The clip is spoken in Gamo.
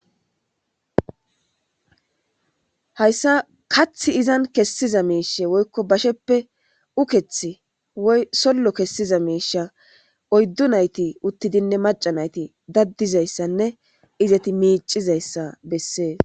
hayssa kathi izan kessiza miishe woykko basheppe uketh ysollo kessiza miisha oyddu nayti uttidinne maca nayti daddizayssanne izati miicizayssa bessees